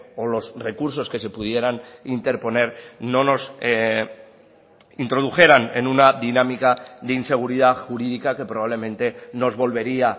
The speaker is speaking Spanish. o los recursos que se pudieran interponer no nos introdujeran en una dinámica de inseguridad jurídica que probablemente nos volvería